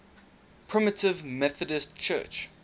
primitive methodist church